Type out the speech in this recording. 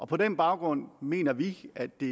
på den baggrund mener vi at det